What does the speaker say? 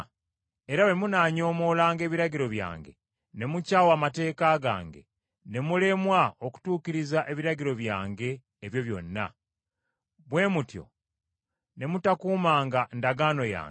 era bwe munaanyoomoolanga ebiragiro byange ne mukyawa amateeka gange, ne mulemwa okutuukiriza ebiragiro byange ebyo byonna, bwe mutyo ne mutakuumanga ndagaano yange,